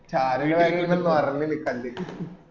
ഷാരു ഇങ്ങ പറഞ്ഞീന് കണ്ടിട്ട്